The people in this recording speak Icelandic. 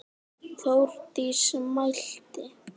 Þórdís mælti: